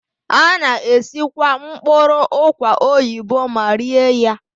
A na-esikwa mkpụrụ ụkwa oyibo ma rie ya.